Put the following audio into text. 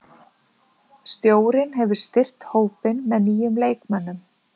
Stjórinn hefur styrkt hópinn með nýjum leikmönnum.